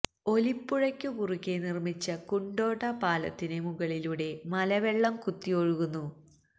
ഒലിപ്പുഴക്കു കുറുകെ നിർമിച്ച കുണ്ടോട പാലത്തിന് മുകളിലൂടെ മലവെള്ളം കുത്തിയൊഴുകുന്നു